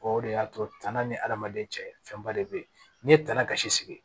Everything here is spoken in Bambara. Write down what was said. O de y'a to tana ni adamaden cɛ fɛnba de bɛ yen n'i ye tana kasi sigi